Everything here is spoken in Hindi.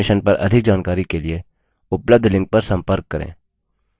इस mission पर अधिक जानकारी के लिए उपलब्ध लिंक पर संपर्क करें